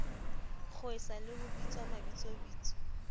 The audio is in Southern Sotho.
kgeswa le ho bitswa mabitsobitso